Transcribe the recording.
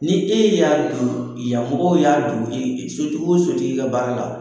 Ni e y'a don yanmɔgɔw y'a don sotigi wo sotigi ka baara la.